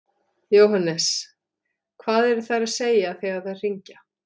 Jóhannes: Hvað eru þær að segja þegar þær hringja?